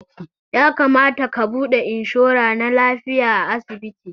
Ya kamata ka buɗe inshora na lafiya a asibiti